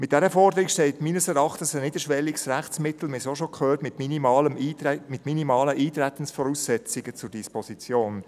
Mit dieser Forderung steht meines Erachtens ein niederschwelliges Rechtsmittel, wir haben es auch schon gehört, mit minimalen Eintretensvoraussetzungen zur Disposition.